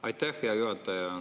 Aitäh, hea juhataja!